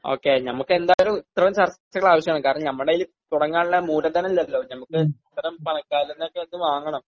ഒക്കെ ഞമ്മക്ക് എന്തായാലും ഇത്രയും ചർച്ചകൾ ആവശ്യമാണ് കാരണം ഞമ്മടെ കയ്യില് തുടങ്ങാനുള്ള മൂലധനം ഇല്ലല്ലോ ഞമ്മക്ക് ഇത്തരം പണക്കാരിൽ നിന്നൊക്കെ അത് വാങ്ങണം.